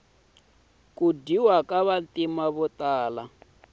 ku dyayiwa ka vantima votala